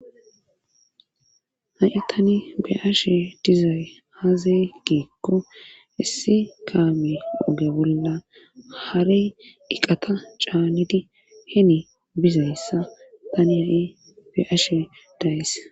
Ha7i tani be'ashe dizay haazay geekko issi kaami doge bolla harey iqata caanedi heni bizayssa tani ha7i be ashe dayes.